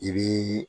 I bii